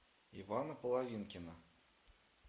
ивана половинкина